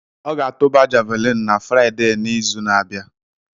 Ọ ga-atụba javuliini na Fraiden'izu na-abịa.